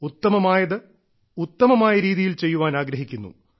ഉത്തമമായത് ഉത്തമമായ രീതിയിൽ ചെയ്യാൻ ആഗ്രഹിക്കുന്നു